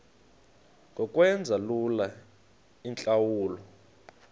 ngokwenza lula iintlawulo